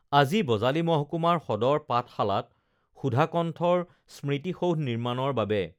আজি বজালী মহকুমাৰ সদৰ পাঠশালাত সুধাকণ্ঠৰ স্মৃতিসৌধ নিৰ্মাণৰ বাবে